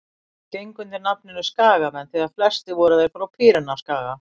þeir gengu undir nafninu skagamenn því flestir voru þeir frá pýreneaskaga